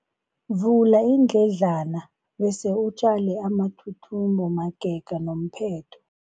Vula iindledlana bese utjale amathuthumbo magega nomphetho.